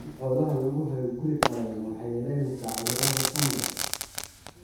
In xoolaha lagu hayo guri qallalan waxay yaraynaysaa cudurada fangas.